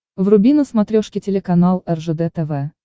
вруби на смотрешке телеканал ржд тв